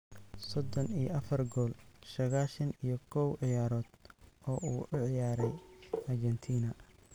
sodon iyo afar gool saqashan iyo kow ciyaarood oo uu u ciyaaray Argentina.